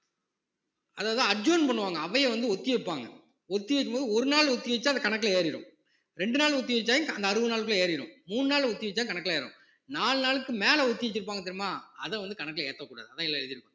அதைதான் adjourn பண்ணுவாங்க அவையை வந்து ஒத்தி வைப்பாங்க ஒத்தி வைக்கும்போது ஒரு நாள் ஒத்திவைச்சா அது கணக்குல ஏறிரும் ரெண்டு நாள் ஒத்தி வச்சா அந்த அறுபது நாளுக்குள்ள ஏறிரும் மூணு நாள் ஒத்தி வச்சா கணக்குல ஏறும் நாலு நாளுக்கு மேல ஒத்தி வச்சிருப்பாங்க தெரியுமா அதை வந்து கணக்குல ஏத்தக்கூடாது அதயெல்லாம் எழுதிருப்பாங்க